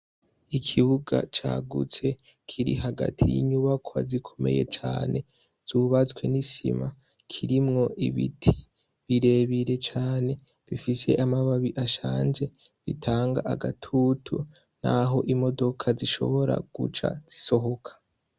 Ikibuga cagutse kiri hagati yinyubakwa zikomeye cane zubatswe nisima kirimwo ibiti birebire cane bifise amababi ashaje atanga agatutu naho imodoka zishobora guca zisohoka